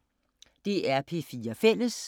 DR P4 Fælles